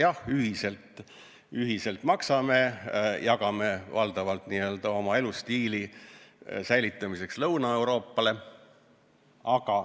Jah, ühiselt maksame, jagame raha valdavalt n-ö oma elustiili säilitamiseks ka Lõuna-Euroopale.